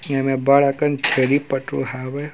एमेर बड़ अकन छेरी पठरु हावे।